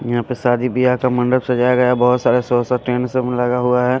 यहाँ पे शादी व्याह का मंडप सजाया गया है बहुत सारा सौ सब टेंट सब लगा हुआ है।